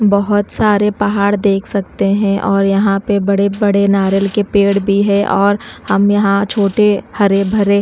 बहोत सारे पहाड़ देख सकते हैं और यहां पे बड़े बड़े नारियल के पेड़ भी है और हम यहां छोटे हरे भरे--